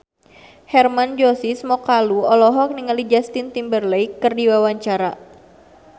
Hermann Josis Mokalu olohok ningali Justin Timberlake keur diwawancara